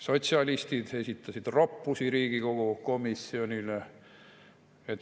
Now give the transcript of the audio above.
Sotsialistid esitasid roppusi Riigikogu komisjonile.